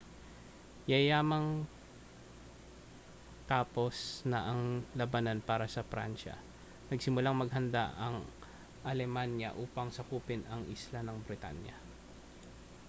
yayamang tapos na ang labanan para sa pransiya nagsimulang maghanda ang alemanya upang sakupin ang isla ng britanya